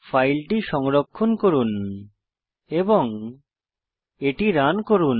ফাইলটি সংরক্ষণ করুন এবং এটি রান করুন